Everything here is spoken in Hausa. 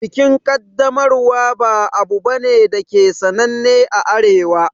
Bikin Kaddamarwa ba abu bane dake sananne a Arewa